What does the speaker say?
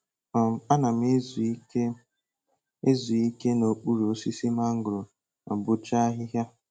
um Ana m ezu ike m ezu ike n'okpuru osisi mangoro ma bọchaa ahịhịa